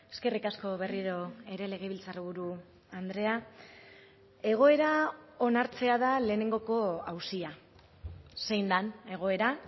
eskerrik asko berriro ere legebiltzarburu andrea egoera onartzea da lehenengoko auzia zein den egoera